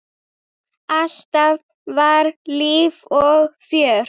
Alltaf var líf og fjör.